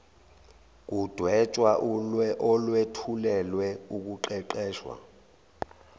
kudwetshwa olwethulelwe ukuqeqesha